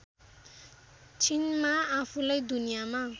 छिनमा आफूलाई दुनियामा